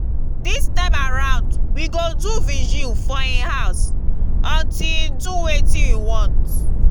dis time around we go do vigil for im house until he do wetin we want